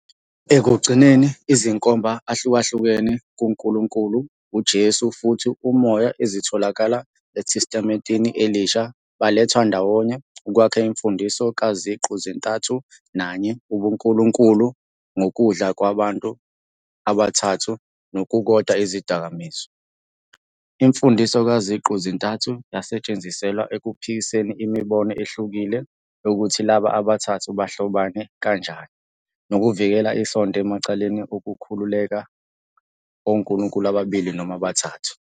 Ekugcineni, izinkomba ahlukahlukene kuNkulunkulu, uJesu, futhi uMoya ezitholakala eTestamenteni Elisha baletha ndawonye ukwakha imfundiso kaZiqu-zintathu nanye ubuNkulunkulu ngokudla kubantu abathathu nokukodwa izidakamizwa. Imfundiso kaZiqu-zintathu yasetshenziselwa ekuphikiseni imibono ehlukile yokuthi laba abathathu bahlobane kanjani nokuvikela isonto emacaleni okukhulekela onkulunkulu ababili noma abathathu.